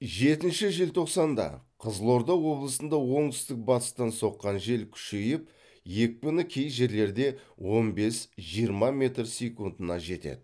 жетінші желтоқсанда қызылорда облысында оңтүстік батыстан соққан жел күшейіп екпіні кей жерлерде он бес жиырма метр секундына жетеді